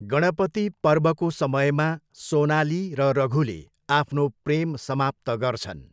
गणपति पर्वको समयमा सोनाली र रघुले आफ्नो प्रेम समाप्त गर्छन्।